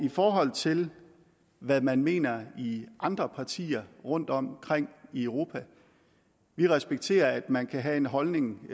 i forhold til hvad man mener i andre partier rundtomkring i europa at vi respekterer at man kan have en holdning